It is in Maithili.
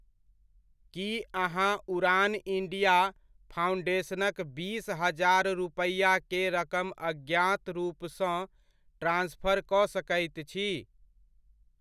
की अहाँ उड़ान इण्डिया फाउण्डेशनक बीस हजार रुपैआके रकम अज्ञात रूपसँ ट्रान्सफर कऽ सकैत छी?